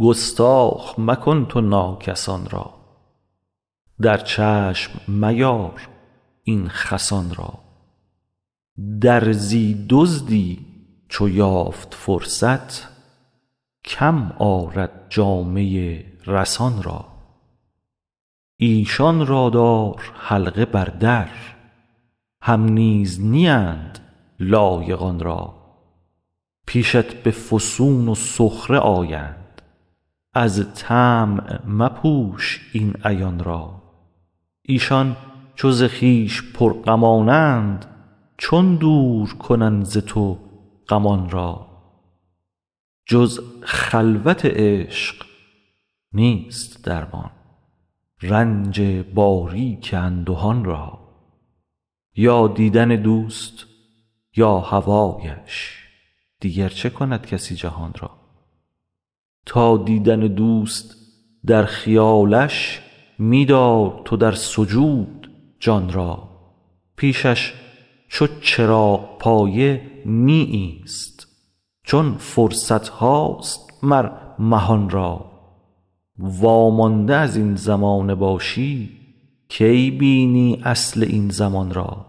گستاخ مکن تو ناکسان را در چشم میار این خسان را درزی دزدی چو یافت فرصت کم آرد جامه رسان را ایشان را دار حلقه بر در هم نیز نیند لایق آن را پیشت به فسوس و سخره آیند از طمع مپوش این عیان را ایشان چو ز خویش پرغمانند چون دور کنند ز تو غمان را جز خلوت عشق نیست درمان رنج باریک اندهان را یا دیدن دوست یا هوایش دیگر چه کند کسی جهان را تا دیدن دوست در خیالش می دار تو در سجود جان را پیشش چو چراغپایه می ایست چون فرصت هاست مر مهان را وامانده از این زمانه باشی کی بینی اصل این زمان را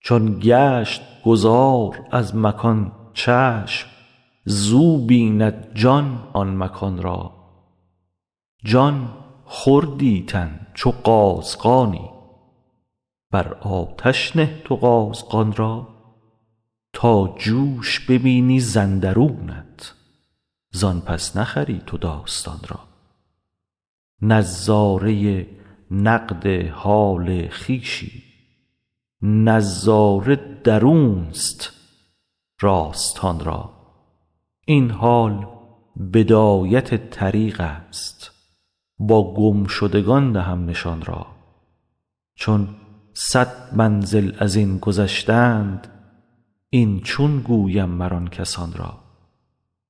چون گشت گذار از مکان چشم زو بیند جان آن مکان را جان خوردی تن چو قازغانی بر آتش نه تو قازغان را تا جوش ببینی ز اندرونت زان پس نخری تو داستان را نظاره نقد حال خویشی نظاره درونست راستان را این حال بدایت طریقست با گم شدگان دهم نشان را چون صد منزل از این گذشتند این چون گویم مر آن کسان را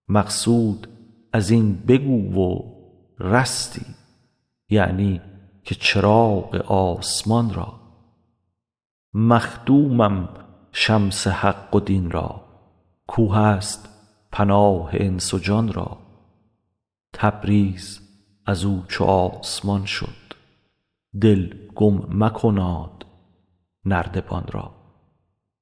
مقصود از این بگو و رستی یعنی که چراغ آسمان را مخدومم شمس حق و دین را کاو هست پناه انس و جان را تبریز از او چو آسمان شد دل گم مکناد نردبان را